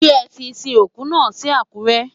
Ṣé ẹ ti sin òkú náà sí Àkúrẹ́?